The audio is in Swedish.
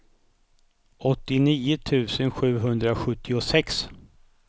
åttionio tusen sjuhundrasjuttiosex